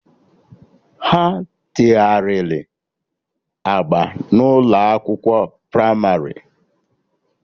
Ha tegharịrị agba na ụlọ akwụkwọ pramarị